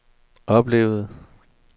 oplevede